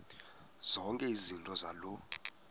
zonke izinto zaloo